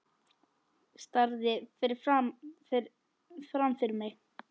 Starði fram fyrir mig.